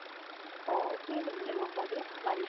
অ সুধিলে গʼম পাবি